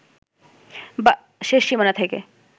বা শেষ সীমানা থেকে